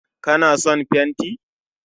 Ka na son fenti?